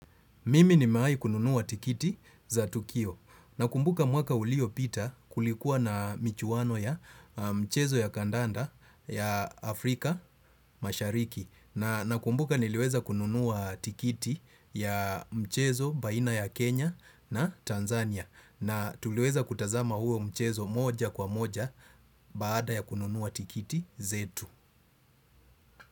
Mimi nimewai kununua tikiti za tukio nakumbuka mwaka ulio pita kulikuwa na michuwano ya mchezo ya kadanda ya Afrika mashariki na nakumbuka niliweza kununua tikiti ya mchezo baina ya Kenya na Tanzania na tuliweza kutazama huo mchezo moja kwa moja baada ya kununua tikiti zetu.